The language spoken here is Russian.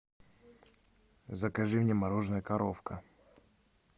закажи мне мороженное коровка